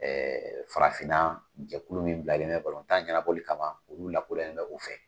farafinna jɛkulu min bilalen bɛ balon tan ɲɛnaboli kama, olu lakoloyalen bɛ u fɛ.